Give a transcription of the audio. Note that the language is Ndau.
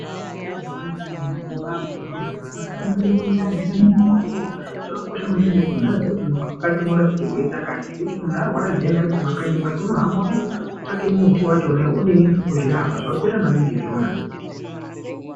Kune miti yakasiyanasiyana inorape zvirwere zvakasiyanasiyana munenge mundani, chinonga chikotsoro , zvakakosha maningi kuti munhu aziye kuti muti wakati unorape chirwere chakati zvekuti munhu arwara zviyani ari kumakanyi kwake unohamba odini, otsvake muti wachona odini ozvirapa zvakakosha maningi izvona.